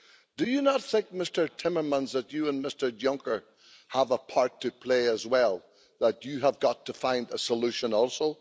Do you not think, Mr Timmermans, that you and Mr Juncker have a part to play as well, that you have got to find a solution also?